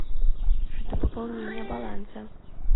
жду пополнения баланса